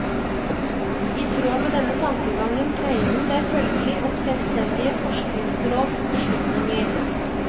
I tråd med denne tankegangen dreier det seg følgelig om selvstendige forskningsråds beslutninger.